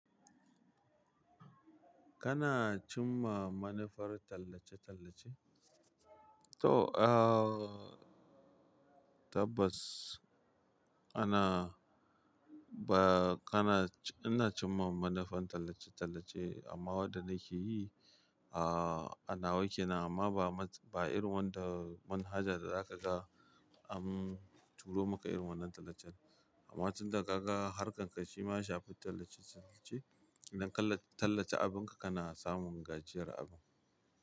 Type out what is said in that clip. Kana cimma manufar tallace-tallace? To, ah, tabbas ana ba kana-- ina cimma manufan tallace-tallace, amma waɗanda ke yi, ah, anawa kena amma ba irin wanda manhaja da za ka ga an turo maka irin wannan tallacen. Amma tun da ka ga harkar ka shima shafi tallace-tallace, idan ka tallace abin ka, kana samun gajiyar abu.